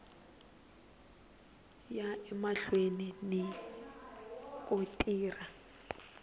ya emahlweni ni ku tirha